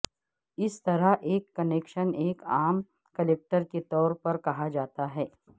اس طرح ایک کنکشن ایک عام کلکٹر کے طور پر کہا جاتا ہے